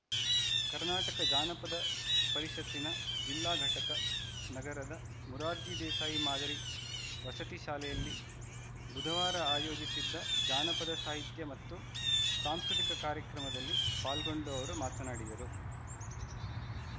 ಕರ್ನಾಟಕ ಜಾನಪದ ಪರಿಷತ್ತಿನ ಜಿಲ್ಲಾ ಘಟಕ ನಗರದ ಮುರಾರ್ಜಿ ದೇಸಾಯಿ ಮಾದರಿ ವಸತಿ ಶಾಲೆಯಲ್ಲಿ ಬುಧವಾರ ಆಯೋಜಿಸಿದ್ದ ಜಾನಪದ ಸಾಹಿತ್ಯ ಮತ್ತು ಸಾಂಸ್ಕೃತಿಕ ಕಾರ್ಯಕ್ರಮದಲ್ಲಿ ಪಾಲ್ಗೊಂಡು ಅವರು ಮಾತನಾಡಿದರು